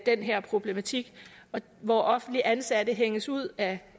den her problematik hvor offentligt ansatte hænges ud af